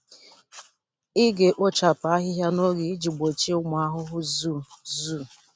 Ị ga-ekpochapụ ahịhịa n'oge iji gbochie ụmụ ahụhụ zoo. zoo.